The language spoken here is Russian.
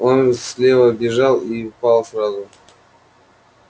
он слева бежал и упал сразу